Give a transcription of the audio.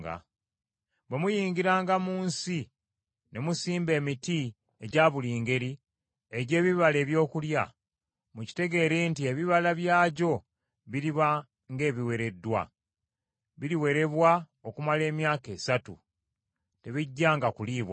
“Bwe muyingiranga mu nsi ne musimba emiti egya buli ngeri egy’ebibala ebyokulya, mukitegeere nti ebibala byagyo biriba ng’ebiwereddwa. Biriwerebwa okumala emyaka esatu; tebijjanga kuliibwanga.